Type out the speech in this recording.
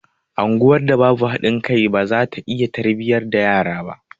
Anguwar da babu haɗin kai baza ta iya tarbiyyar yara ba